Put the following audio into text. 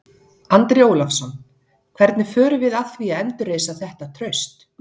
Andri Ólafsson: Hvernig förum við að því að endurreisa þetta traust?